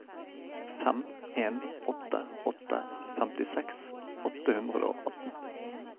fem en åtte åtte femtiseks åtte hundre og atten